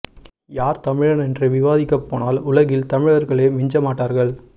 யார் தமிழன் என்று விவாதிக்கப் போனால் உலகில் தமிழர்களே மிஞ்ச மாட்டார்கள்